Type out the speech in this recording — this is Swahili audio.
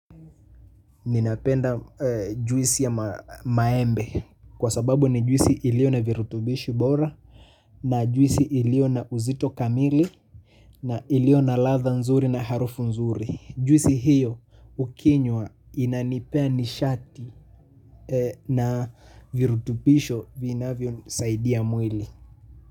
Ninapenda juisi ya maembe. Kwa sababu ni juisi ilio na virutubishi bora. Na juisi ilio na uzito kamili. Na ilio na ladha nzuri na harufu nzuri. Juisi hiyo ukinywa inanipea nishati. Na virutubisho vinavyonisaidia mwili.